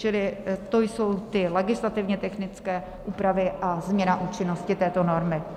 Čili to jsou ty legislativně technické úpravy a změna účinnosti této normy.